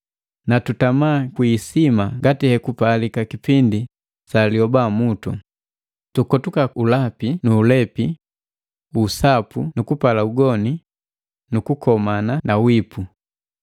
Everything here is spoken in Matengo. Na tutama kwi isima ngati hekupalika kipindi sa liobamutu, tukotuka ulapi nu ulepi, usapu nu kupala ugoni, kukomana na wiipu.